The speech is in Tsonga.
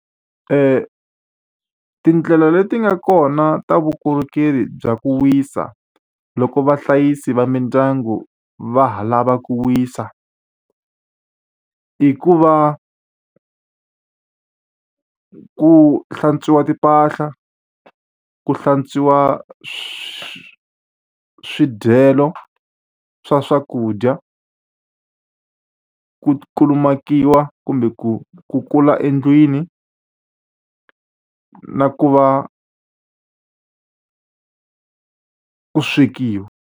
Ti tindlela leti nga kona ta vukorhokeri bya ku wisa loko vahlayisi va mindyangu va ha lava ku wisa, i ku va ku hlantswa timpahla, ku hlantswiwa swivangelo swa swakudya, ku kulumakiwa kumbe ku kukula endlwini, na ku va ku swekiwa.